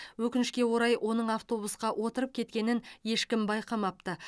өкінішке орай оның автобусқа отырып кеткенін ешкім байқамапты